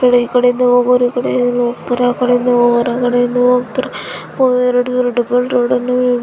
ಈ ಕಡೆಯಿಂದ ಹೋಗವರು ಈ ಕಡೆ ಹೋಗ್ತಾರೆ ಆ ಕಡೆಯಿಂದ ಹೋಗುವರು ಆ ಕಡೆ ಹೋಗ್ತಾರೆ ಇಲ್ಲಿ ಎರಡು ಡಬಲ್ ರೋಡ್--